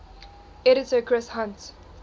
editor chris hunt